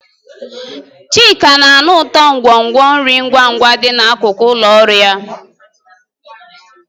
Chika na-anụ ụtọ nkwonkwo nri ngwa ngwa dị n'akụkụ ụlọ ọrụ ya.